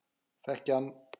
Þekki hann.